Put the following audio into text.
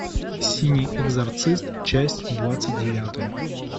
синий экзорцист часть двадцать девятая